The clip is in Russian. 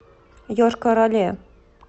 йошкар оле